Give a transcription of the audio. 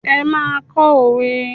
Ẹ máa kọ́ òwe.